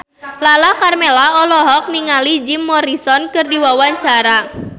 Lala Karmela olohok ningali Jim Morrison keur diwawancara